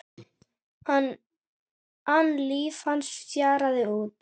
an líf hans fjaraði út.